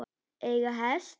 Eiga hest.